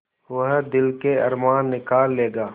वह दिल के अरमान निकाल लेगा